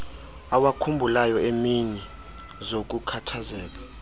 awakhumbulayo eemini zokukhathazeka